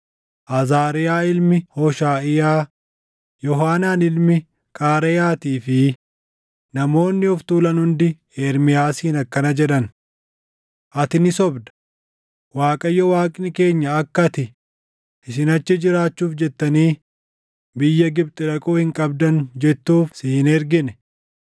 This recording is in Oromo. Azaariyaa ilmi Hooshaʼiyaa, Yoohaanaan ilmi Qaareyaatii fi namoonni of tuulan hundi Ermiyaasiin akkana jedhan; “Ati ni sobda! Waaqayyo Waaqni keenya akka ati, ‘Isin achi jiraachuuf jettanii biyya Gibxi dhaquu hin qabdan’ jettuuf si hin ergine.